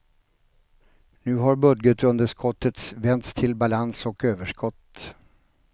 Nu har budgetunderskottet vänts till balans och överskott.